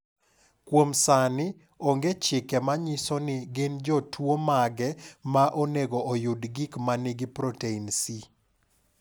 Kuom sani, onge chike ma nyiso ni gin jotuwo mage ma onego oyud gik ma nigi protein C.